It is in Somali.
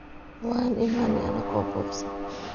Waan iimane anako buqsan.